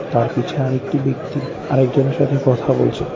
তার পিছে আরেকটি ব্যক্তি আর একজনের সাথে কথা বলছে।